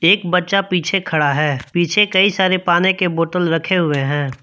एक बच्चा पीछे खड़ा है पीछे कई सारे पानी के बोतल रखे हुए है।